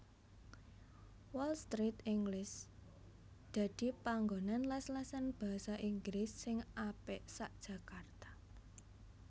Wall Street English dadi panggonan les lesan bahasa Inggris sing apik sak Jakarta